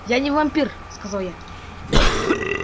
я не вампир сказал я я дебил